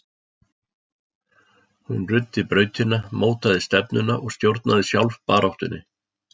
Hún ruddi brautina, mótaði stefnuna og stjórnaði sjálf baráttunni.